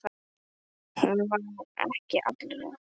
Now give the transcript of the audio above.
Hún var ekki allra.